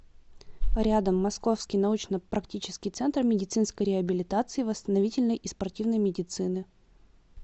рядом московский научно практический центр медицинской реабилитации восстановительной и спортивной медицины